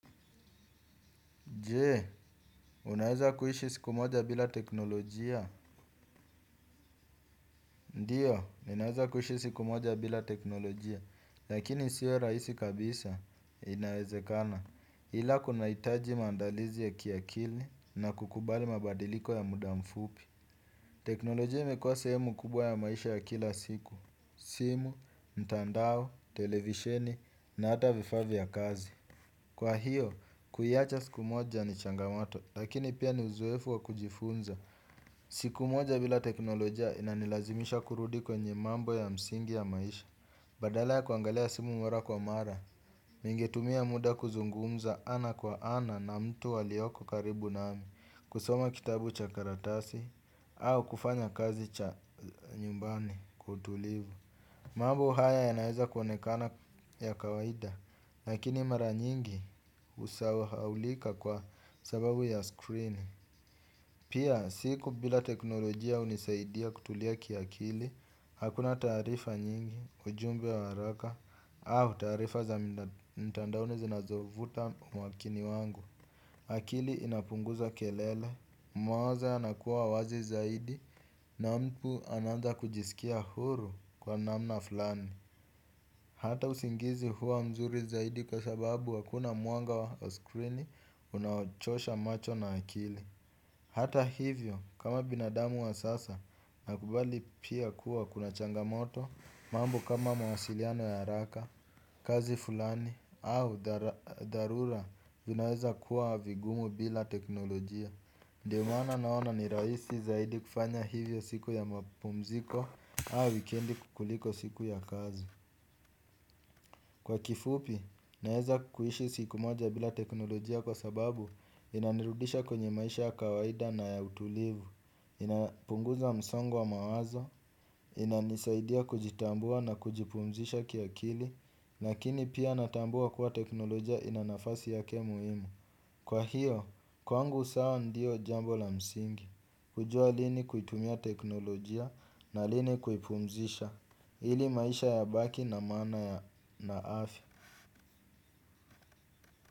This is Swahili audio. Je, unaweza kuishi siku moja bila teknolojia? Ndiyo ninaweza kuishi siku moja bila teknolojia lakini sio rahisi kabisa inawezekana. Ila kuna hitaji maandalizi ya kiakili na kukubali mabadiliko ya muda mfupi. Teknolojia imekuwa sehemu kubwa ya maisha ya kila siku. Simu, mtandao, televisheni, na ata vifaa vya kazi. Kwa hiyo kuiacha siku moja ni changamato, lakini pia ni uzoefu wa kujifunza. Siku moja bila teknoloja inanilazimisha kurudi kwenye mambo ya msingi ya maisha. Badala ya kuangalia simu mara kwa mara ningetumia muda kuzungumza ana kwa ana na mtu alioko karibu nami, kusoma kitabu cha karatasi au kufanya kazi cha nyumbani kwa utulivu. Mambo haya yanaweza kuonekana ya kawaida lakini mara nyingi husahaulika kwa sababu ya screen. Pia siku bila teknolojia hunisaidia kutulia kia kili hakuna taarifa nyingi ujumbe wa haraka au taarifa za mtandaoni zinazovuta umakini wangu. Akili inapunguza kelele, mwaza anakuwa wazi zaidi na mtu anaanza kujisikia huru kwa namna fulani. Hata usingizi huwa mzuri zaidi kwa sababu hakuna mwanga wa skrini unaochosha macho na akili. Hata hivyo kama binadamu wa sasa nakubali pia kuwa kuna changamoto mambo kama mawasiliano ya haraka, kazi fulani, au dharura vinaweza kuwa vigumu bila teknolojia ndiyo maana naona ni rahisi zaidi kufanya hivyo siku ya mapumziko au wikendi kuliko siku ya kazi kwa kifupi, naweza kuishi siku moja bila teknolojia kwa sababu inanirudisha kwenye maisha ya kawaida na ya utulivu. Inapunguza msongo wa mawazo, inanisaidia kujitambua na kujipumzisha kia kili. Lakini pia natambua kuwa teknolojia ina nafasi yake muhimu. Kwa hiyo, kwangu sawa ndio jambo la msingi. Kujua lini kuitumia teknolojia na lini kuipumzisha ili maisha yabaki na maana ya na afya.